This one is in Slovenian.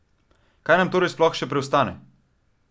Kaj nam torej sploh še preostane?